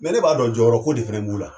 ne b'a dɔn jɔyɔrɔ ko de fɛnɛ b'u la.